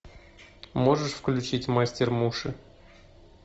можешь включить мастер муши